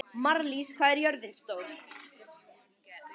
Marlís, hvað er jörðin stór?